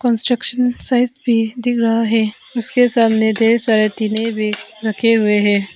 Construction site भी दिख रहा है उसके सामने ढेर सारे टिने भी रखे हुए है।